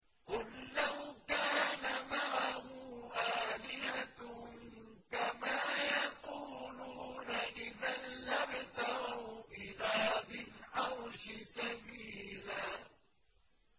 قُل لَّوْ كَانَ مَعَهُ آلِهَةٌ كَمَا يَقُولُونَ إِذًا لَّابْتَغَوْا إِلَىٰ ذِي الْعَرْشِ سَبِيلًا